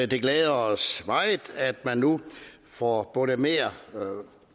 det glæder os meget at man nu får mere